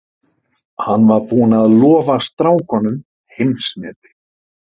Hann var búinn að lofa strákunum heimsmeti.